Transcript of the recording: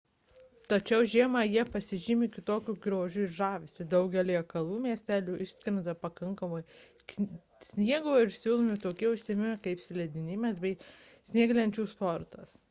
tačiau žiemą jie pasižymi kitokiu grožiu ir žavesiu daugelyje kalvų miestelių iškrenta pakankamai sniego ir siūlomi tokie užsiėmimai kaip slidinėjimas bei snieglenčių sportas